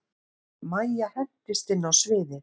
Mæja hendist inn á sviðið.